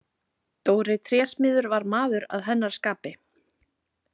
Dóri trésmiður var maður að hennar skapi.